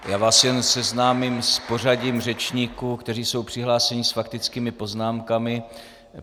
Já vás jen seznámím s pořadím řečníků, kteří jsou přihlášeni s faktickými poznámkami.